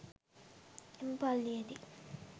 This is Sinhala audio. එම පල්ලියේදී